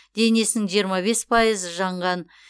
денесінің жиырма бес пайызы жанған